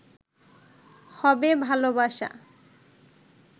হবে ভালোবাসা